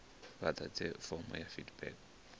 vha ḓadze fomo ya feedback